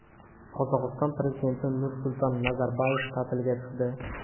Qozog‘iston prezidenti Nursulton Nazarboyev ta’tilga chiqdi.